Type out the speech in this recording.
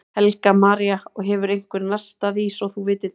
Helga María: Og hefur einhver nartað í svo þú vitir til?